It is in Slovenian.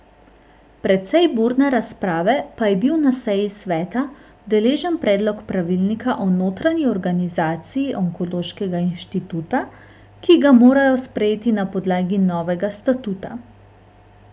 Precej burne razprave pa je bil na seji sveta deležen predlog pravilnika o notranji organizaciji onkološkega inštituta, ki ga morajo sprejeti na podlagi novega statuta.